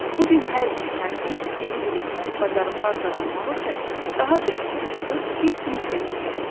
Bu gün hər bir şagird yeni biliklər, bacarıqlar qazanmaq üçün daha bir addım atıb, bir sinif də yüksəlir.